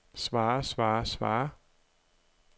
svarer svarer svarer